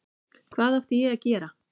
Hvað átti ég að gera?